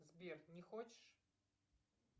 сбер не хочешь